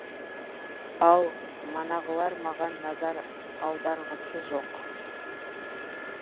ал манағылар маған назар аударғысы жоқ